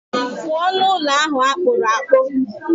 Pụọ n'ụlọ ahụ akpụrụ akpụ.